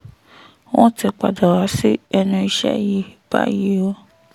wọ́n ti padà wá sí ẹnu iṣẹ́ yìí báyìí o